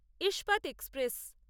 ইস্পাত এক্সপ্রেস